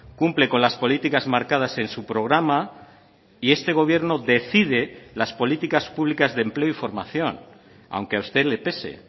cumple con las políticas marcadas en su programa y este gobierno decide las políticas públicas de empleo y formación aunque a usted le pese